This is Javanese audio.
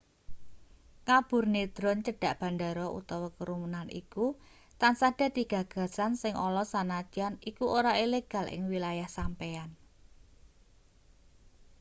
ngaburne drone cedhak bandara utawa kerumunan iku tansah dadi gagasan sing ala sanadyan iku ora ilegal ing wilayah sampeyan